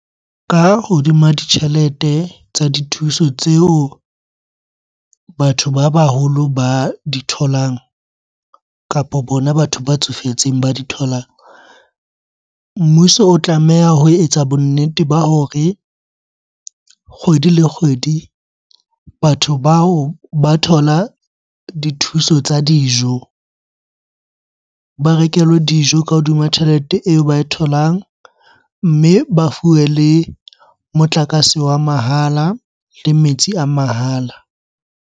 Ka hodima ditjhelete tsa dithuso tseo batho ba baholo ba di tholang kapo bona batho ba tsofetseng ba di tholang. Mmuso o tlameha ho etsa bonnete ba hore kgwedi le kgwedi, batho bao ba thola dithuso tsa dijo, ba rekelwe dijo ka hodima tjhelete eo ba e tholang. Mme ba fuwe le motlakase wa mahala, le metsi a mahala.